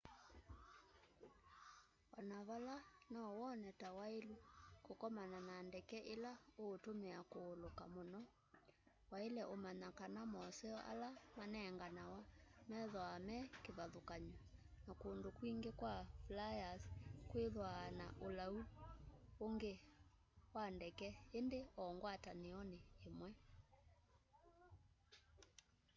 o na vala nowone ta wailu kukomana na ndeke ila utumia kuuluka muno waile umanya kana moseo ala manenganawa methwaa me kivathukany'o na kundu kwingi kwa flyers kwithwaa na ulau ungu wa ndeke ingi o ngwatanioni imwe